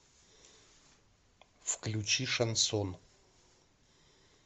включи шансон